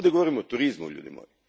Ovdje govorimo o turizmu, ljudi moji.